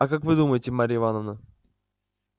а как вы думаете марья ивановна